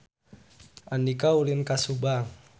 Andika ulin ka Subang